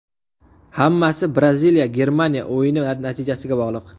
Hammasi Braziliya Germaniya o‘yini natijasiga bog‘liq.